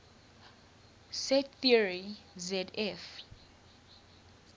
set theory zf